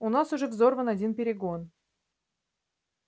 у нас уже взорван один перегон